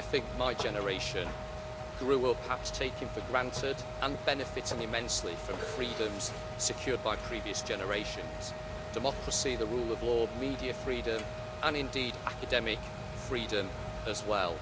I think my generation grew up perhaps taking for granted, and benefiting immensely, from freedoms secured by previous generations democracy, the rule of law, media freedom and indeed academic freedom as well.